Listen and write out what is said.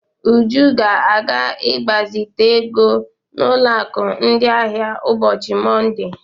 Uju ga-aga ịgbazite ego n'ụlọ akụ ndị ahịa ụbọchị Monde.